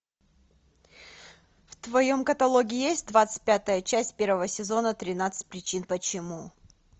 в твоем каталоге есть двадцать пятая часть первого сезона тринадцать причин почему